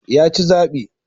Ya ci zabi.